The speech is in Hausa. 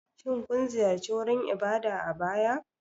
Shin kun ziyarci wurin ibada a baya?